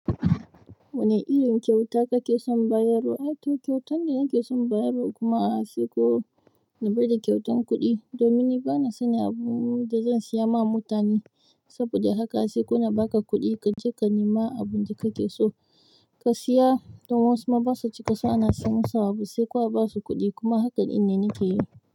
Wane irin kyauta kake son bayarwa? Ai, to kyautan da nake son bayarwa kuma a haifi ko, daban da kyautan kuɗi. Domin ni bana sani abu da zan siya ma mutane saboda haka sai kuna ba ka kuɗi ka je ka nema abin da kake so ka siya. Dan wasuma basu cika san ana siyan musu.